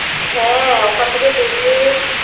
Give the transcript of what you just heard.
হ্যাঁ ওখান থেকে বেরিয়ে